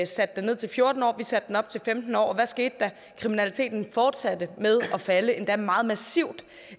satte den ned til fjorten år og vi satte den op til femten år og hvad skete der kriminaliteten fortsatte med at falde endda meget massivt